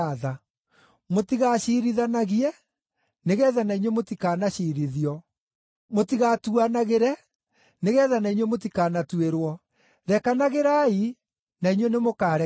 “Mũtigaciirithanagie nĩgeetha na inyuĩ mũtikanaciirithio. Mũtigatuanagĩre, nĩgeetha na inyuĩ mũtikanatuĩrwo. Rekanagĩrai, na inyuĩ nĩmũkarekerwo.